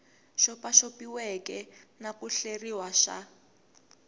xopaxopiweke na ku hleriwa xa